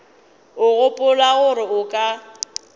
o gopola gore o ka